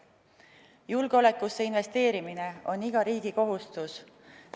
Julgeolekusse investeerimine on iga riigi kohustus.